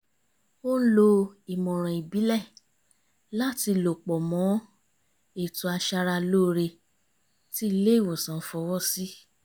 ó ń lo ìmọ̀ràn ìbílẹ̀ láti lò pọ̀ mọ́ ètò aṣara lóore tí ilé ìwòsàn fọwọ́ sí